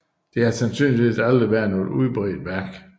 Det har sandsynligvis aldrig været noget udbredt værk